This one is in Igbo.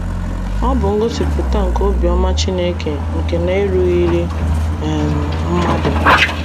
Ọ bụ ngosipụta nke obiọma Chineke nke na - erughịrị um mmadụ. ”